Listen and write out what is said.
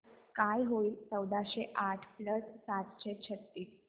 काय होईल चौदाशे आठ प्लस सातशे छ्त्तीस